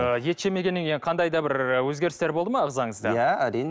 ы ет жемегеннен кейін қандай да ы бір өзгерістер болды ма ағзаңызда иә әрине